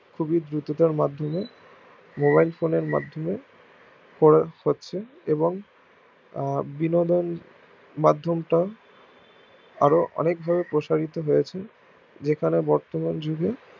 খুবই দ্রুততার মাধ্যমে mobilephone এর মাধ্যমে করা যাচ্ছে এবং বিনোদন মাধ্যম তও আরো অনেক ভাবে প্রসারিত হয়ছে যেখানে বর্তমান যুগে